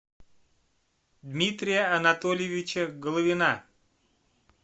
дмитрия анатольевича головина